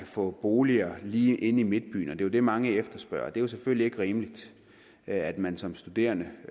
få boliger lige inde i midtbyen det er jo det mange efterspørger men det er selvfølgelig ikke rimeligt at man som studerende